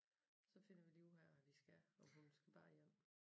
Så finder vi lige ud af hvad vi skal om hun skal bare hjem